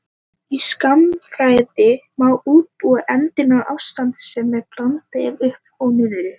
Í skammtafræði má útbúa eindina í ástandi sem er blanda af upp og niður.